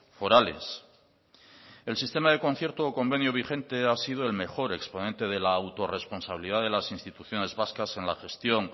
forales el sistema de concierto o convenio vigente ha sido el mejor exponente de la autorresponsabilidad de las instituciones vascas en la gestión